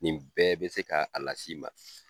Nin bɛɛ bɛ se ka a las'i ma.